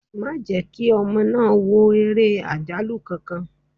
Má jẹ́ kí ọmọ náà wò ere àjálù kankan!